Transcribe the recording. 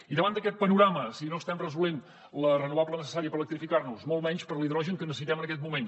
i davant d’aquest panorama si no estem resolent la renovable necessària per electrificar nos molt menys per l’hidrogen que necessitem en aquest moment